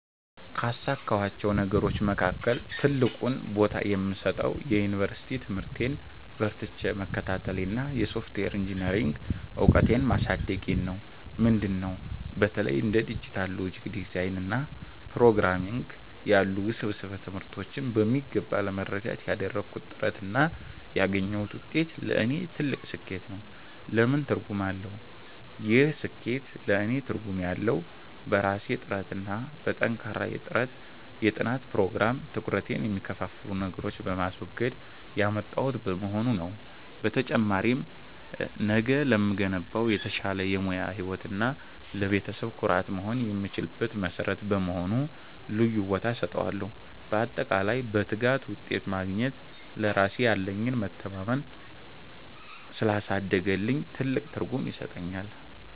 ካሳካኋቸው ነገሮች መካከል ትልቁን ቦታ የምሰጠው የዩኒቨርሲቲ ትምህርቴን በርትቼ መከታተሌንና የሶፍትዌር ኢንጂኔሪንግ እውቀቴን ማሳደጌን ነው። ምንድን ነው? በተለይ እንደ ዲጂታል ሎጂክ ዲዛይን እና ፕሮግራምንግ ያሉ ውስብስብ ትምህርቶችን በሚገባ ለመረዳት ያደረግኩት ጥረት እና ያገኘሁት ውጤት ለእኔ ትልቅ ስኬት ነው። ለምን ትርጉም አለው? ይህ ስኬት ለእኔ ትርጉም ያለው፣ በራሴ ጥረትና በጠንካራ የጥናት ፕሮግራም (ትኩረቴን የሚከፋፍሉ ነገሮችን በማስወገድ) ያመጣሁት በመሆኑ ነው። በተጨማሪም፣ ነገ ለምገነባው የተሻለ የሙያ ህይወት እና ለቤተሰቤ ኩራት መሆን የምችልበት መሠረት በመሆኑ ልዩ ቦታ እሰጠዋለሁ። ባጠቃላይ፣ በትጋት ውጤት ማግኘት ለራሴ ያለኝን መተማመን ስላሳደገልኝ ትልቅ ትርጉም ይሰጠኛል።